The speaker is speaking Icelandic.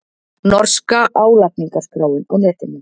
Norska álagningarskráin á netinu